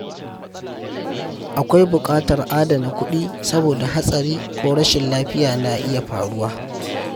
Akwai buƙatar adana kuɗi saboda hatsari ko rashin lafiya na iya faruwa.